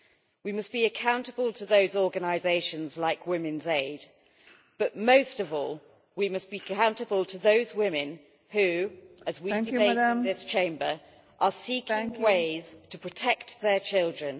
We must be accountable to those organisations like Women's Aid, but most of all we must be accountable to those women who, as we debate in this chamber, are seeking ways to protect their children.